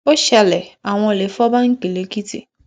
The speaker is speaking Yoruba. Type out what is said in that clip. ó ṣẹlẹ àwọn olè fọ báńkì lẹkìtì